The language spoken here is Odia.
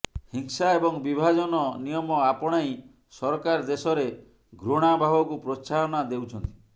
ହିଂସା ଏବଂ ବିଭାଜନ ନିୟମ ଆପଣାଇ ସରକାର ଦେଶରେ ଘୃଣାଭାବକୁ ପ୍ରୋତ୍ସାହନା ଦେଉଛନ୍ତି